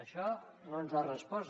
això no ens ho ha respost